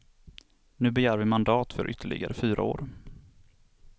Nu begär vi mandat för ytterligare fyra år.